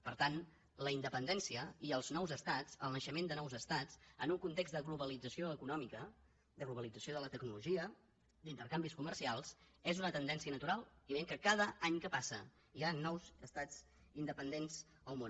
per tant la independència i els nous estats el naixement de nous estats en un context de globalització econòmica de globalització de la tecnologia d’intercanvis comercials és una tendència natural i veiem que cada any que passa hi han nous estats independents en el món